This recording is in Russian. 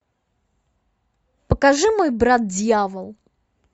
покажи мой брат дьявол